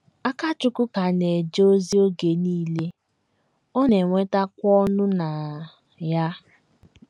Akachukwu ka na - eje ozi oge nile, ọ na - enwetakwa ọṅụ na ya.